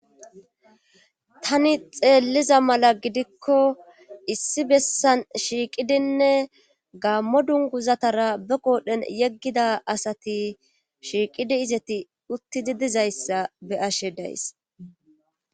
tani xeelliza mala gidikko issi bessan shiiqidinne gaammo dungguzatara be qoodhen yeggida asati shiiqidi izeti uttidi dizayssa beyashe days.